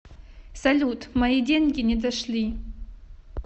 салют мои деньги не дошли